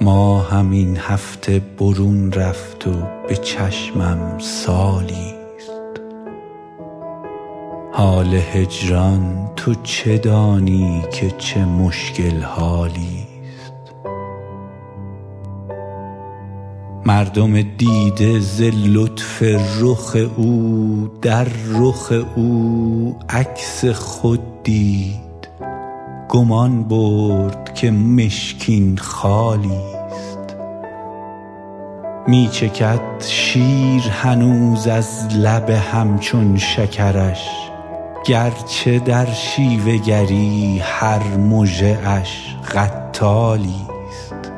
ماهم این هفته برون رفت و به چشمم سالی ست حال هجران تو چه دانی که چه مشکل حالی ست مردم دیده ز لطف رخ او در رخ او عکس خود دید گمان برد که مشکین خالی ست می چکد شیر هنوز از لب هم چون شکرش گر چه در شیوه گری هر مژه اش قتالی ست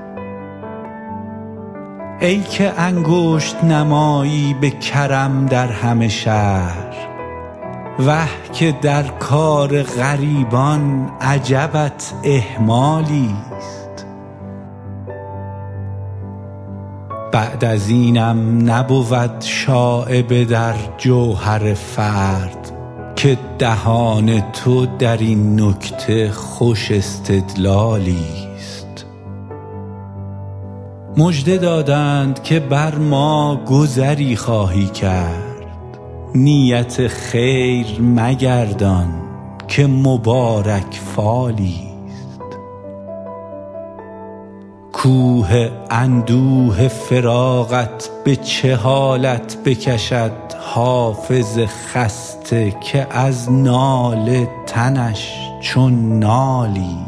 ای که انگشت نمایی به کرم در همه شهر وه که در کار غریبان عجبت اهمالی ست بعد از اینم نبود شایبه در جوهر فرد که دهان تو در این نکته خوش استدلالی ست مژده دادند که بر ما گذری خواهی کرد نیت خیر مگردان که مبارک فالی ست کوه اندوه فراقت به چه حالت بکشد حافظ خسته که از ناله تنش چون نالی ست